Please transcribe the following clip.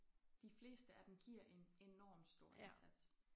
De fleste af dem giver en enorm stor indsats